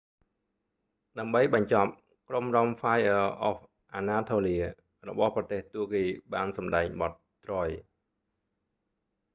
ដើម្បីបញ្ចប់ ក្រុមរាំហ្វាយអឺ អហ្វ អាណាថូលៀ fire of anatolia របស់ប្រទេសទួរគីបានសម្ដែងបទ troy